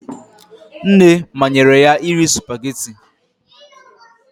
Nne manyere ya iri spugeetí ti